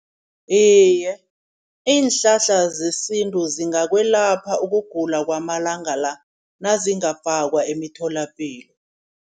Iye iinhlahla zesintu zingakwelapha ukugula kwamalanga la. Nazingafakwa emitholapilo.